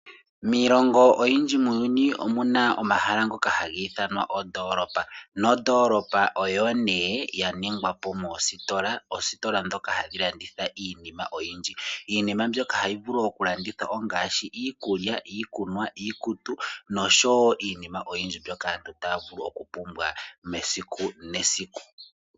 Miilongo oyindji muuyuni omuna omahala ngoka haga ithanwa ondoolopa. Nondoolopa oyo nee ya ningwa po moositola. Oositola ndhoka hadhi landitha iinima oyindji . Iinima mbyoka hayi vulu okulandithwa ongaashi iikulya, iikunwa, iikutu nosho wo iinima oyindji mbyoka aantu taya vulu okupumbwa mesiku nesiku.